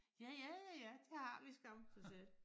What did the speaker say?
Ja ja ja ja det har vi skam så sagde